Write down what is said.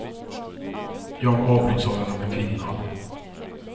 Jag avbryts av den unga kvinnan.